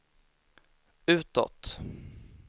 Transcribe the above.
utåt